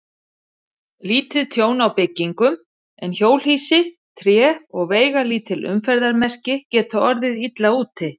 Lítið tjón á byggingum, en hjólhýsi, tré og veigalítil umferðarmerki geta orðið illa úti.